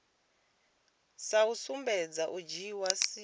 sa sumbedzi u dzhia sia